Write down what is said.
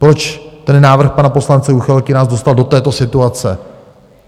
Proč ten návrh pana poslance Juchelky nás dostal do této situace?